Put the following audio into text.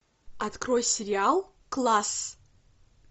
открой сериал класс